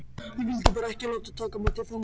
Ég vildi bara ekki láta taka mig til fanga